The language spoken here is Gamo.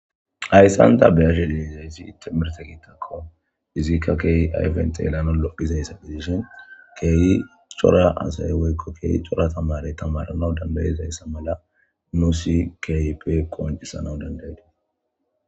Hayssan ta beyashe leeizaysi itte mirte kiittakko izikka keeyi ayfent elano lophizayssa bizishin keeyi cora asay woykko keeyi cora tamarey tamaranau dandayizayssa mala nusi kyipe qoncisana dandaydiee